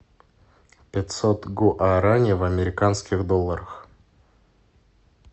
пятьсот гуарани в американских долларах